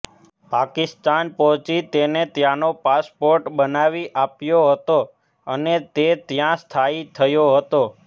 પાકિસ્તાન પહોચી તેને ત્યાનો પાસપોર્ટ બનાવી આપ્યો હતો અને તે ત્યા સ્થાયી થયો હતો